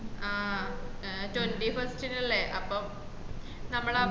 ആഹ് ഏഹ് twenty first നല്ല അപ്പം നമ്മളാ പോ